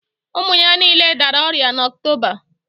Ụmụ ya niile dara ọrịa n'Oktoba